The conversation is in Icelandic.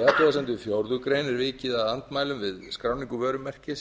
í athugasemdum við fjórðu grein er vikið að andmælum við skráningu vörumerkis